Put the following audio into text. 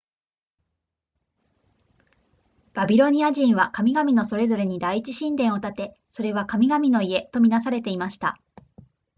バビロニア人は神々のそれぞれに第一神殿を建てそれは神々の家とみなされていました